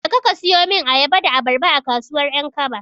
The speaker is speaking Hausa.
Jeka ka siyo min ayaba da abarba, a kasuwar 'Yankaba.